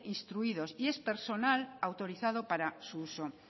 instruidos y es personal autorizado para su uso